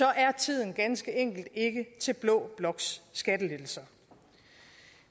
er tiden ganske enkelt ikke til blå bloks skattelettelser